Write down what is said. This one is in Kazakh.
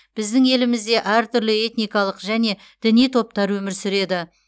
біздің елімізде әртүрлі этникалық және діни топтар өмір сүреді